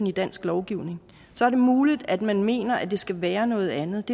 i dansk lovgivning så er det muligt at man mener at det skal være noget andet